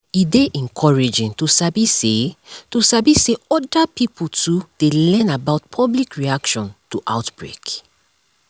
e dey encouraging to sabi say to sabi say other pipo too dey learn about public reaction to outbreak